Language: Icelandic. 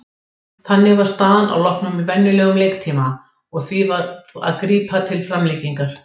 Þannig var staðan að loknum venjulegum leiktíma og því varð að grípa til framlengingar.